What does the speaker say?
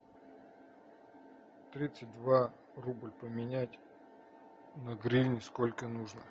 тридцать два рубль поменять на гривни сколько нужно